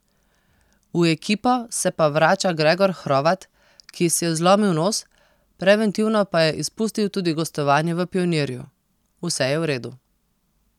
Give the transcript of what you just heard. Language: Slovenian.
V ekipo se pa vrača Gregor Hrovat, ki si je zlomil nos, preventivno pa je izpustil tudi gostovanje v Pionirju: 'Vse je v redu.